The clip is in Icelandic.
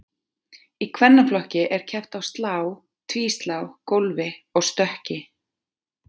Í kvennaflokki er keppt á slá, tvíslá, gólfi og stökki.